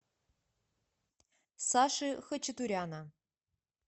саши хачатуряна